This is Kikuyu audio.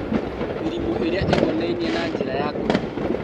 Mĩrimũ ĩrĩa ĩkonainie na njĩra ya kũhihia